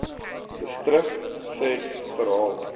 distrik ses verhaal